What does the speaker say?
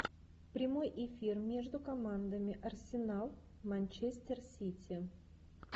прямой эфир между командами арсенал манчестер сити